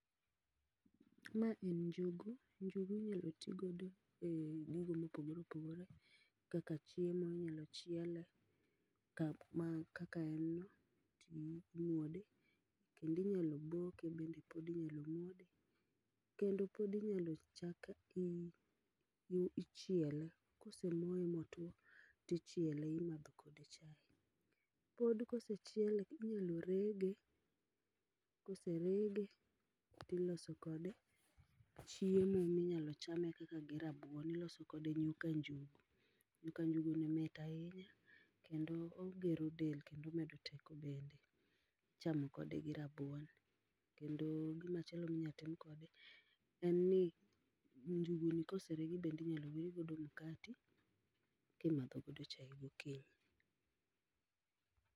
Ma en njugu, njugu inyalo tii godo e gigo moporgore opogore kaka chiemo ,inyalo chiele kaka en no imuode kendo inyalo boke bende kata inyalo bue, kendo pod inyalo chak ichiele kosemoye motuo tichiele timadho kode chai. Pod kosechiele inyalo rege koserege tiloso kode chiemo minyalo cham kata gi rabuon, iloso kode nyuka njugu, nyuka njugu mit ahinya kendo ogero del kendo omedo teko ,ichamo kode gi rabuon kendo gimachielo minyalo timo kode en ni njugu ni kose reg tinyal wire mkati kimadho godo chai gokinyi